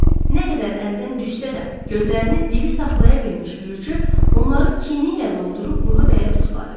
Nə qədər əldən düşsə də, gözlərini diri saxlaya bilmiş Gürcü, onları kini ilə doldurub bığı bəyə tuşladı.